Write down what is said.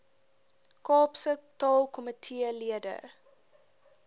kaapse taalkomitee lede